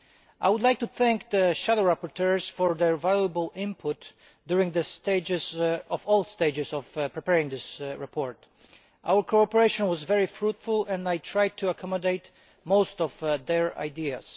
I would like to thank the shadow rapporteurs for their valuable input during all stages of preparing this report our cooperation was very fruitful and I tried to accommodate most of their ideas.